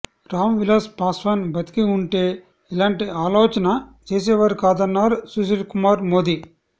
రామ్ విలాస్ పాశ్వాన్ బతికి ఉంటే ఇలాంటి ఆలోచన చేసేవారు కాదన్నారు సుశీల్ కుమార్ మోదీ